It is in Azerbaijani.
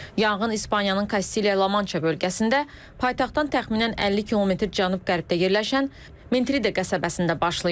Yanğın İspaniyanın Kastiliya Lamança bölgəsində, paytaxtdan təxminən 50 km cənub-qərbdə yerləşən Mentride qəsəbəsində başlayıb.